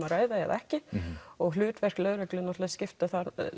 að ræða eða ekki og hlutverk lögreglu skiptir